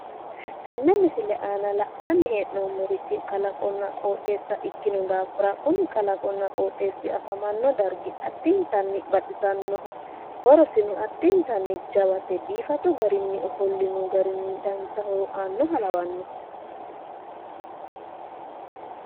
Tenne misile aana la'nanni hee'noommorichi kalaqonna qoxeessa ikkino daafira kuni kalaqonna qoxeessi afamanno dargi addintanni baxisannoho horosino addintanni jawate biifadu garinni ofollino garinni dancha horo aannoha lawanno.